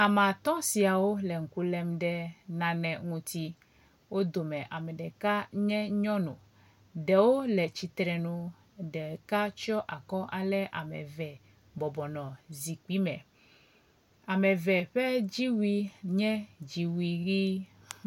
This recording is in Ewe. Ame atɔ siwo le ŋku lem ɖe nane ŋuti. Wo dome ame ɖeka nye nyɔnu. Ɖewo le tsitre nu, ɖeka tsɔ akɔ ale ame eve bɔbɔnɔ zikpui me. Ame eve ƒe dziwui nye dziwui ʋi.